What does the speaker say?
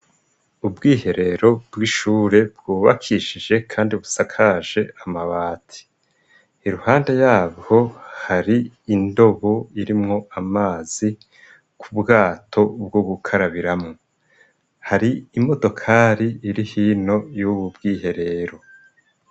Ubwiherero bw'ishure bwubakishije kandi busakaje amabati iruhande yabwo hari indobo irimwo amazi k'ubwato bwo gukarabiramo. Hari imodokari iri hino y'ububwiherero.